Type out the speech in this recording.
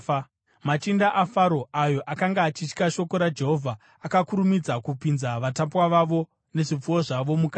Machinda aFaro ayo akanga achitya shoko raJehovha akakurumidza kupinza vatapwa vavo nezvipfuwo zvavo mukati.